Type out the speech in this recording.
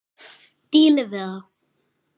Dílið við það!